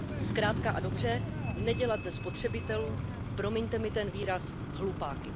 Zkrátka a dobře nedělat ze spotřebitelů, promiňte mi ten výraz, hlupáky.